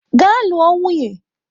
Gaa lụọ nwunye!